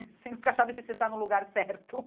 Você nunca sabe se se você está no lugar certo.